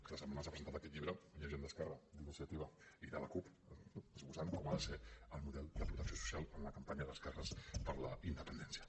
aquesta setmana s’ha presentat aquest llibre gent d’esquerra d’iniciativa i de la cup no esbossant com ha de ser el model de protecció social en la campanya d’esquerres per la independència